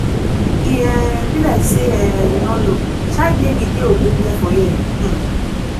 e um be like say um you no know child naming dey ogbonge for here um